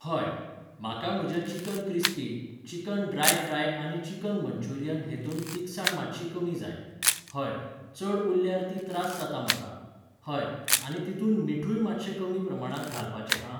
हय, म्हाका म्हज्या चिकन क्रिस्पींत, चिकन ड्राय फ्राय आनी चिकन मन्चुरियन हेतूंत तिखसाण मात्शी कमी जाय. हय, चड उरल्यार ती त्रास जाता म्हाका. हय, आनी तितूंत मिठूय मात्शें कमी प्रमाणांत घालपाचें हां!